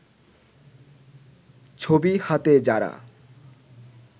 ছবি হাতে যারা